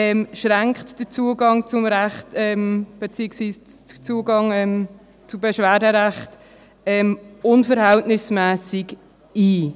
Die vorgesehene kurze Frist schränkt den Zugang zum Beschwerderecht unverhältnismässig ein.